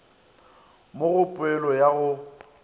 mo go poelo ya go